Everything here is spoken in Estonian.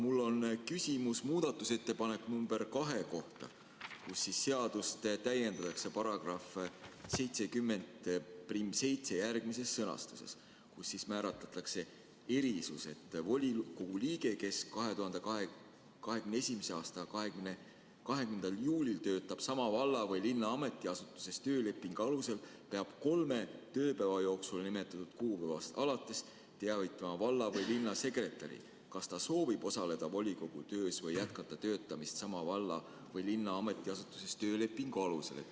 Mul on küsimus muudatusettepaneku nr 2 kohta, millega seadust täiendatakse §‑ga 707, kus määratletakse erisus, et volikogu liige, kes 2021. aasta 20. juulil töötab sama valla või linna ametiasutuses töölepingu alusel, peab kolme tööpäeva jooksul nimetatud kuupäevast alates teavitama valla‑ või linnasekretäri, kas ta soovib osaleda volikogu töös või jätkata töötamist sama valla või linna ametiasutuses töölepingu alusel.